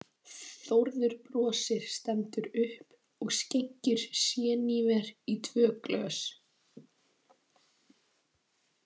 Þórður brosir, stendur upp og skenkir séníver í tvö glös.